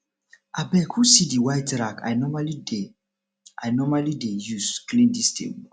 abeg who see the white rag i normally dey i normally dey use clean dis table